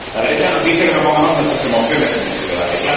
La derecha nos dice que no pongamos nuestras emociones en este debate.